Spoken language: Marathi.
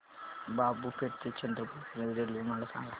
बाबूपेठ ते चंद्रपूर पर्यंत रेल्वे मला सांगा